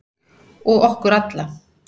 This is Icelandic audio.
Og okkur alla.